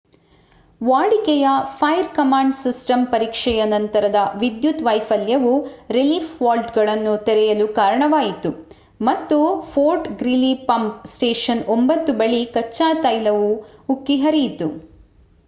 ವಾಡಿಕೆಯ fire command system ಪರೀಕ್ಷೆಯ ನಂತರದ ವಿದ್ಯುತ್ ವೈಫಲ್ಯವು ರಿಲೀಫ್ ವಾಲ್ವ್‌ಗಳನ್ನು ತೆರೆಯಲು ಕಾರಣವಾಯಿತು ಮತ್ತು ಫೋರ್ಟ್ ಗ್ರೀಲಿ ಪಂಪ್ ಸ್ಟೇಷನ್ 9 ಬಳಿ ಕಚ್ಚಾ ತೈಲವು ಉಕ್ಕಿ ಹರಿಯಿತು